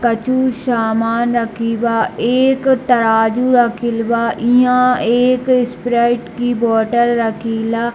कछु सामान रखी बा एक तराजू रखिल बा इहाँ एक स्प्राइट की बोत्तल रखीला |